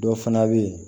Dɔ fana bɛ yen